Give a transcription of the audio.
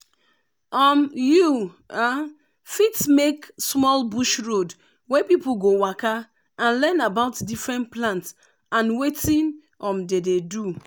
um you fit make small bush road wey people go waka and learn about different plant and wetin um dem dey do.